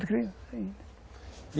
Quando criança ainda.